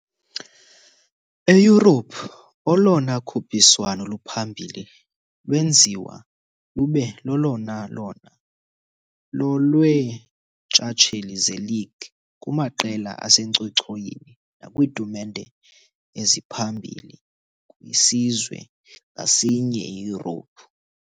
eYurophu, olona khuphiswano luphambili lwenziwa lube lolona lona lolweentshatsheli zeLeague kumaqela asencochoyini nakwiitumente eziphambilikwisizwe ngasinye eYurophu.